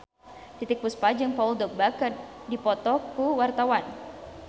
Titiek Puspa jeung Paul Dogba keur dipoto ku wartawan